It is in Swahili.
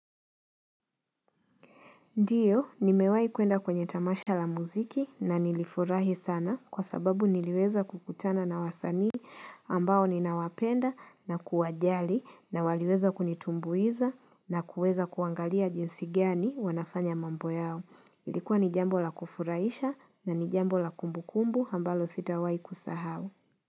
Ndiyo, nimewai kuenda kwenye tamasha la muziki na nilifurahi sana kwa sababu niliweza kukutana na wasanii ambao ninawapenda na kuwajali na waliweza kunitumbuiza na kuweza kuangalia jinsi gani wanafanya mambo yao. Ilikuwa ni jambo la kufurahisha na ni jambo la kumbukumbu ambalo sitawai kusahau.